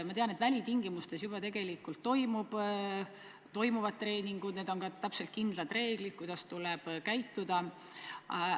Ma tean, et välitingimustes juba treeningud toimuvad, neil on teada kindlad reeglid, kuidas tuleb käituda.